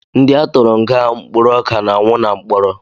Ndị a tụrụ nga mkpụrụ ọka na-anwụ na mkpọrọ